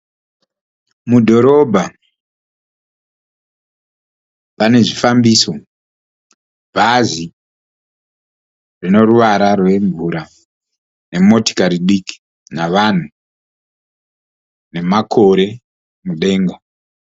Mudhorobha. Pane zvifambiso, bhazi rine ruvara rwemvura nemotikari diki navanhu nemakore mudenga.